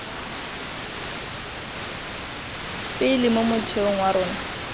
pele mo motheong wa rona